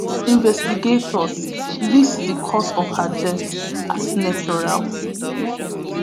investigators list di cause of her death as natural